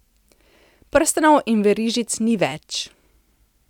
Prstanov in verižic ni več.